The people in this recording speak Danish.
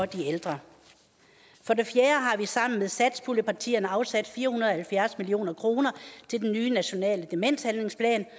de ældre for det fjerde har vi sammen med satspuljepartierne afsat fire hundrede og halvfjerds million kroner til den nye nationale demenshandlingsplan